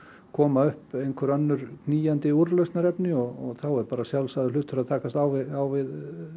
koma upp einhver önnur knýjandi úrlausnarefni og þá er bara sjálfsagður hlutur að takast á við á við